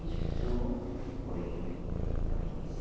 Isso foi em noventa e